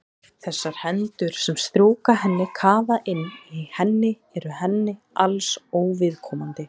Þessar hendur sem strjúka henni, kafa inn í henni eru henni alls óviðkomandi.